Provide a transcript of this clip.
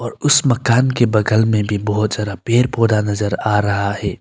उस मकान के बगल में भी बहुत सारा पेड़ पौधा नजर आ रहा है।